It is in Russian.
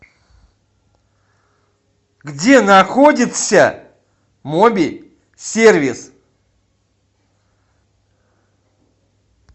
где находится моби сервис